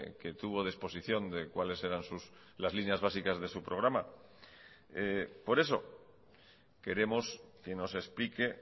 que tuvo de exposición de cuáles eran las líneas básicas de su programa por eso queremos que nos explique